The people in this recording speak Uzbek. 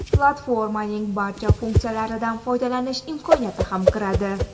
platformaning barcha funksiyalaridan foydalanish imkoniyati ham kiradi.